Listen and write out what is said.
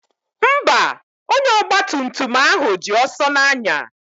Mba, onye ọgba tum tum ahụ ji ọsọ na-anya.